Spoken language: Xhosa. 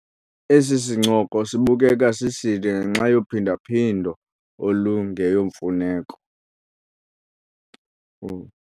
Esi sincoko sibukeka siside ngenxa yophinda-phindo olungeyomfuneko.